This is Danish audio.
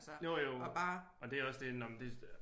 Altså og bare